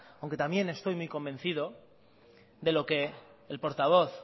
aunque también estoy muy convencido de lo que el portavoz